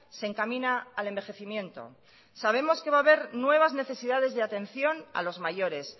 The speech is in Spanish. se encamina al envejecimiento sabemos que va a haber nuevas necesidades de atención a los mayores